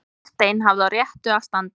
Einstein hafði á réttu að standa